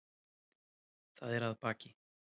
Það er að baki.